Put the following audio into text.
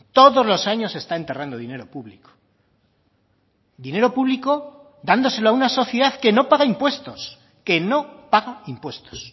todos los años se está enterrando dinero público dinero público dándoselo a una sociedad que no paga impuestos que no paga impuestos